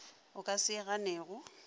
o ka se e ganego